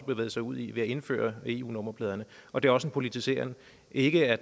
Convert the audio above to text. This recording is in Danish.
bevæget sig ud i ved at indføre eu nummerpladerne og det er også en politiseren ikke at